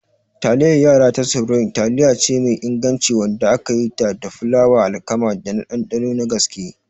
Taliyar yara ta Supreme taliyace mai inganci wadda aka yi da fulawar alkama, tana da ɗanɗano na gaske.